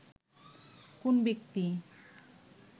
কোন ব্যক্তি